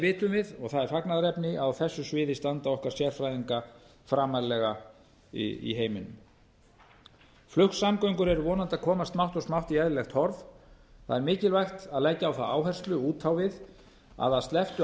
vitum við og það er fagnaðarefni að á þessu sviði standa okkar sérfræðingar framarlega í heiminum flugsamgöngur eru vonandi að komast smátt og smátt í eðlilegt horf það er mikilvægt að leggja á það áherslu út á við að að slepptu